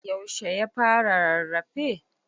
yaushe ya fara rarrafe?